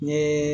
N ye